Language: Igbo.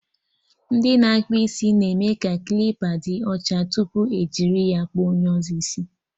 Ndị na-akpụ isi na-eme ka klipa dị ọcha tupu ejiri ya kpụọ onye ọzọ isi